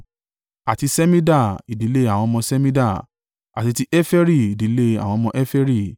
àti Ṣemida, ìdílé àwọn ọmọ Ṣemida; àti ti Heferi, ìdílé àwọn ọmọ Heferi.